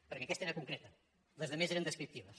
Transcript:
perquè aquesta era concreta les altres eren descriptives